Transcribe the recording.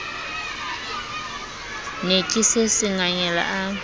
ne ke se sengangele a